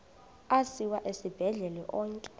asiwa esibhedlele onke